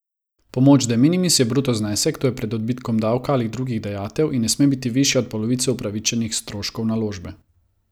Pomoč de minimis je bruto znesek, to je pred odbitkom davka ali drugih dajatev, in ne sme biti višja od polovice upravičenih stroškov naložbe.